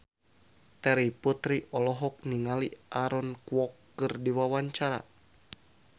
Terry Putri olohok ningali Aaron Kwok keur diwawancara